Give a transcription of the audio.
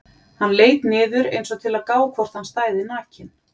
Hann leit niður einsog til að gá hvort hann stæði nakinn.